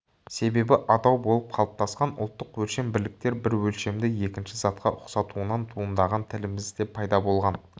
себебі атау болып қалыптасқан ұлттық өлшем бірліктер бір өлшемді екінші затқа ұқсатуынан туындаған тілімізде пайда болған